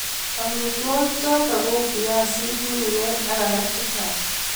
Amitwogik chotok kou viazik ,miwek ak alak chechang